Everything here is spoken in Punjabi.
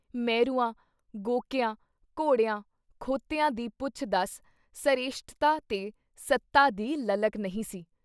ਮਹਿਰੂਆਂ, ਗੋਕਿਆਂ, ਘੋੜਿਆਂ, ਖੋਤਿਆਂ ਦੀ ਪੁੱਛ-ਦੱਸ ਸਰੇਸ਼ਟਤਾ ਤੇ ਸੱਤਾ ਦੀ ਲਲਕ ਨਹੀਂ ਸੀ।